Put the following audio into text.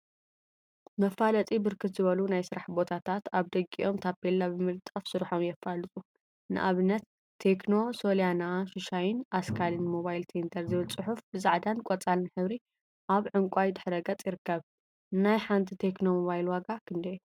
መፋለጢ ብርክት ዝበሉ ናይ ስራሕ ቦታታት አብ ደጊኦም ታፔላ ብምልጣፍ ስርሖም የፋልጡ፡፡ ንአብነት ቴክኖ ሶልያና፣ ሹሻይን አስካልን ሞባይል ሴንተር ዝብል ፅሑፍ ብፃዕዳን ቆፃልን ሕብሪ አብ ዕንቋይ ድሕረ ገፅ ይርከብ፡፡ ናይ ሓንቲ ቴክኖ ሞባይል ዋጋ ክንደይ እዩ?